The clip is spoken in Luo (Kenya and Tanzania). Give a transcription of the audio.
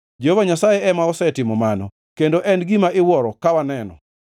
Jehova Nyasaye ema osetimo mano kendo en gima iwuoro ka waneno.